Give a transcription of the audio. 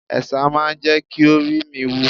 Ẹ̀sà máa ń jẹ́ kí oríi mi wú.